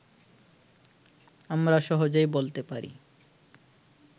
আমরা সহজেই বলতে পারি